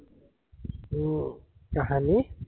উম কাহানী